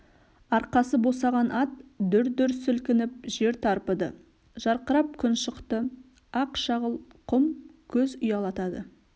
арқасы босаған ат дүр дүр сілкініп жер тарпыды жарқырап күн шықты ақ шағыл құм көз ұялтады